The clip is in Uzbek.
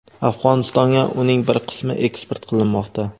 Afg‘onistonga uning bir qismi eksport qilinmoqda.